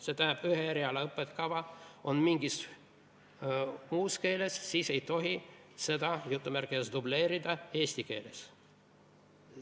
See tähendab, et kui ühe eriala õppekava on mingis muus keeles, siis ei tohi seda "dubleerida" eesti keeles.